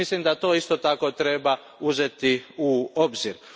I mislim da to isto tako treba uzeti u obzir.